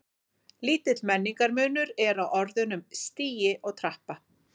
Lítill merkingarmunur er á orðunum stigi og trappa.